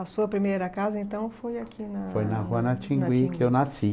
A sua primeira casa, então, foi aqui na... Foi na rua Natinguí que eu nasci.